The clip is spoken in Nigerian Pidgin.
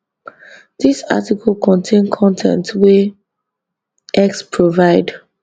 dis article contain con ten t wey x provide